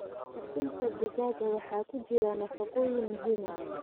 Ukunta digaaga waxaa ku jira nafaqooyin muhiim ah.